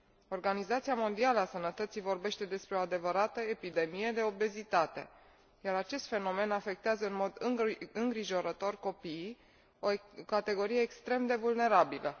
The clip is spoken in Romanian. Organizația Mondială a Sănătății vorbește despre o adevărată epidemie de obezitate, iar acest fenomen afectează în mod îngrijorător copiii, o categorie extrem de vulnerabilă.